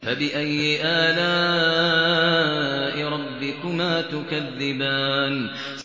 فَبِأَيِّ آلَاءِ رَبِّكُمَا تُكَذِّبَانِ